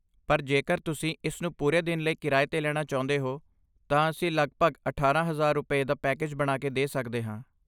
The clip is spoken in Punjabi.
ਪਰ ਜੇਕਰ ਤੁਸੀਂ ਇਸ ਨੂੰ ਪੂਰੇ ਦਿਨ ਲਈ ਕਿਰਾਏ 'ਤੇ ਲੈਣਾ ਚਾਹੁੰਦੇ ਹੋ ਤਾਂ ਅਸੀਂ ਲਗਭਗ ਅਠਾਰਾਂ ਹਜ਼ਾਰ ਰੁਪਏ, ਦਾ ਪੈਕੇਜ ਬਣਾ ਕੇ ਸਕਦੇ ਹਾਂ